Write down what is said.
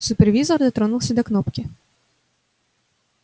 супервизор дотронулся до кнопки